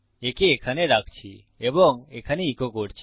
একে এখানে রাখছি এবং এখানে ইকো করছি